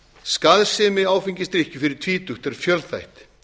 skaðsemi áfengisdrykkju fyrir tvítugt er fjölþætt